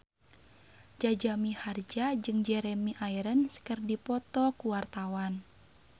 Jaja Mihardja jeung Jeremy Irons keur dipoto ku wartawan